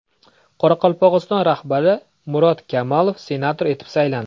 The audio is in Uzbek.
Qoraqalpog‘iston rahbari Murat Kamalov senator etib saylandi.